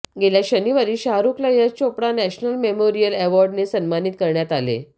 गेल्या शनिवारी शाहरूखला यश चोपडा नॅशनल मेमोरियल अॅवार्डने सन्मानित करण्यात आले